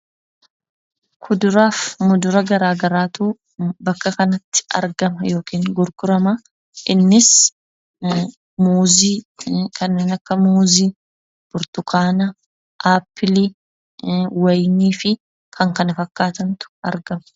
Kuduraa fi mudura garaagaraatu bakka kanatti argama yookiin gurgurama. Innis, muuzii kanneen akka muuzii, burtukaana, appilii, wayinii fi kan kana fakkaatantu argama.